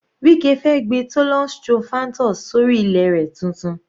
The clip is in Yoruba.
Wike fẹ́ gbin thollon strophanthus sórí ilẹ̀ rẹ̀ tuntun.